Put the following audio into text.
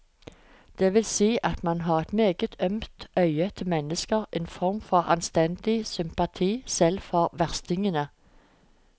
Det vil si at han har et meget ømt øye til mennesker, en form for anstendig sympati selv for verstingene.